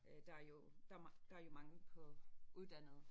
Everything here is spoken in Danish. Øh der er jo der der jo mangel på uddannede